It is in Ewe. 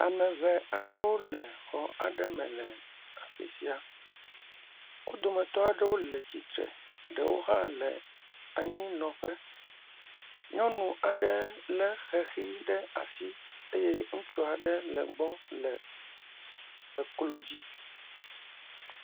Ame ŋee aɖewo le xɔ aɖe me le afi sia. Wo dometɔ aɖewo le tsitre ɖewo hã le anyinɔƒe. Nyɔnu aɖe lé xexi ɖe asi eye ŋutsu aɖe le egbɔ le eklodzi.